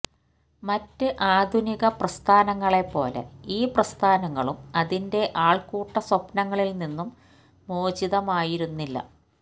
മറ്റ് ആധുനിക പ്രസ്ഥാനങ്ങളെപ്പോലെ ഈ പ്രസ്ഥാനങ്ങളും അതിന്റെ ആൾക്കൂട്ട സ്വപ്നങ്ങളിൽനിന്നും മോചിതമായിരുന്നില്ല